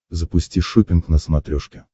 запусти шоппинг на смотрешке